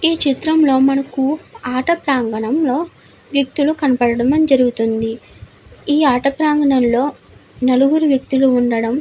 ఈ చిత్రంలో మనకు ఆట ప్రాగణంలో వ్యక్తులు కనబడడం జరుగుతుంది. ఈ ఆట ప్రాగణంలో నలుగురు వ్యక్తులు ఉండడం--